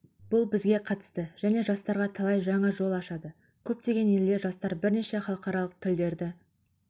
бұл бізге қатысты және жастарға талай жаңа жол ашады көптеген елде жастар бірнеше халықаралық тілдерді